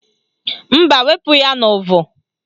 Mba, wepu ya n'uvu